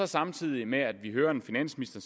samtidig med at vi hører en finansminister